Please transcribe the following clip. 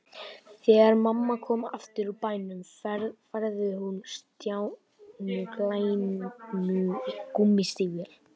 Þegar mamma kom aftur úr bænum færði hún Stjána glæný gúmmístígvél.